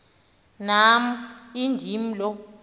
nam indim lo